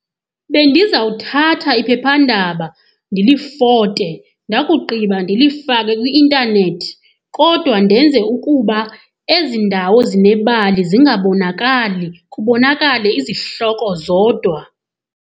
Bendizawuthatha iphephandaba ndilifote ndakugqiba ndilifake kwi-intanethi, kodwa ndenze ukuba ezi ndawo zinebali zingabonakali kubonakale izihloko zodwa.